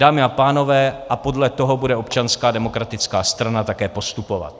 Dámy a pánové, a podle toho bude Občanská demokratická strana také postupovat!